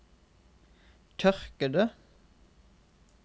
tørkede